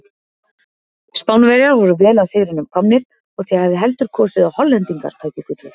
Spánverjar voru vel að sigrinum komnir þótt ég hefði heldur kosið að Hollendingar tækju gullið.